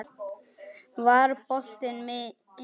Var boltinn inni?